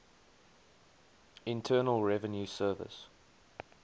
internal revenue service